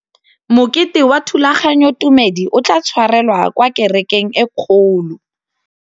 Mokete wa thulaganyôtumêdi o tla tshwarelwa kwa kerekeng e kgolo.